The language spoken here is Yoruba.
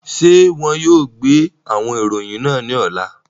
Ṣe wọn yóò gbe awọn iroyin naa ni ọla?